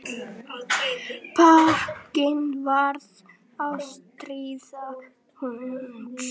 Bókin varð ástríða hans.